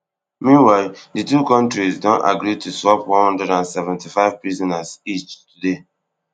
meanwhile di two kontris don agree to swap one hundred and seventy-five prisoners each today